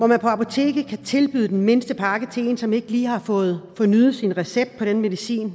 man på apoteket kan tilbyde den mindste pakke til en som ikke lige har fået fornyet sin recept på den medicin